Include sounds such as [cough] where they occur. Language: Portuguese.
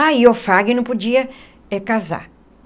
Ah, e o [unintelligible] não podia casar.